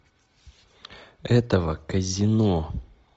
этого казино